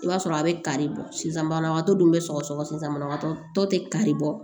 I b'a sɔrɔ a bɛ kari bɔ sisan banabagatɔ dun be sɔgɔsɔgɔ sisan banabagatɔ tɛ kari bɔ